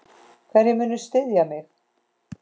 Hverjir munu styðja mig?